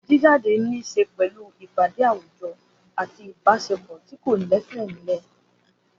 Gbígbé jáde ní í ṣe pẹ̀lú ìpàdé àwùjọ àti ìbáṣepọ̀ tí kò lẹ́sẹ̀ nílẹ̀.